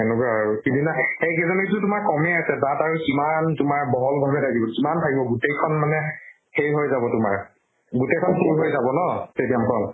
সেনেকুৱা আৰু। সিদিনা সেই কেইজনী চোন তোমাৰ কমে আছে, তাত আৰু কিমান তোমাৰ বহল ভাবে থাকিব, কিমান থাকিব গোটেইখন সেই হৈ যাব তোমাৰ। গোটেই খন full হৈ যাব ন stadium খন।